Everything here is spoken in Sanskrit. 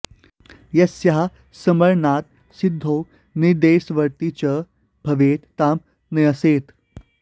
यस्याः स्मरणात् सिद्धो निदेशवर्ती च भवेत् तां न्यसेत्